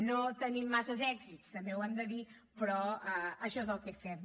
no tenim massa èxits també ho hem de dir però això és el que fem